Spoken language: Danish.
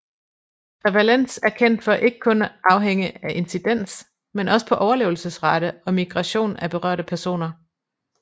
Prævalens er kendt for ikke kun at afhænge af incidens men også på overlevelsesrate og migration af berørte personer